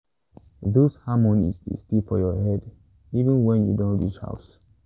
those harmonies dey stay for your head even wen you don reach house